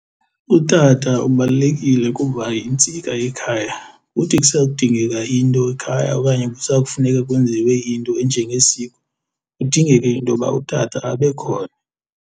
Utata ubalulekile kuba yintsika yekhaya, kuthi kusa kudingeka into ekhaya okanye kusakufuneka kwenziwe into enjengesiko kudingeke intoba utata abe khona.